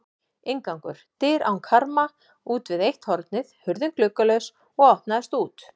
Inngangur: dyr án karma útvið eitt hornið, hurðin gluggalaus og opnaðist út.